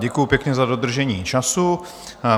Děkuju pěkně za dodržení času.